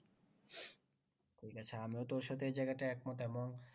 ঠিক আছে আমিও তোর সাথে এই জায়গাটায় একমত এমন